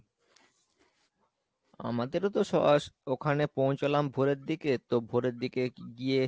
আমাদেরতো so আস ওখানে পৌছালাম ভোরের দিকে তো ভোরের দিকে গিয়ে